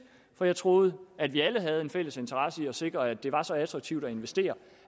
for jeg troede at vi alle havde en fælles interesse i at sikre at det var så attraktivt at investere